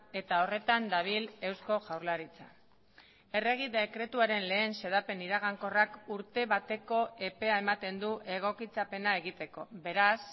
eta horretan dabil eusko jaurlaritza errege dekretuaren lehen xedapen iragankorrak urte bateko epea ematen du egokitzapena egiteko beraz